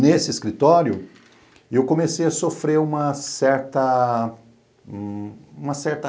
nesse escritório, eu comecei a sofrer uma certa... uma certa...